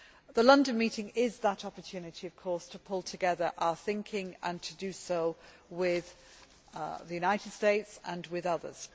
The London meeting is that opportunity, of course, to pull together our thinking and to do so with the United States and with others.